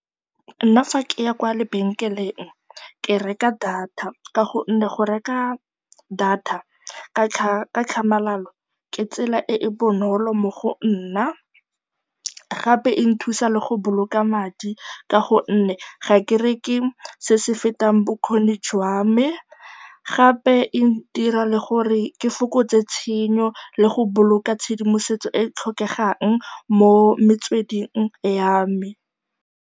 Nna fa ke ya kwa lebenkeleng ke reka data ka gonne go reka data ka tlhamalalo ke tsela e e bonolo mo go nna, gape e nthusa le go boloka madi ka gonne ga ke reke se se fetang bokgoni jwa me. Gape e dira le gore ke fokotse tshenyo le go boloka tshedimosetso e e tlhokegang mo metsweding ya me.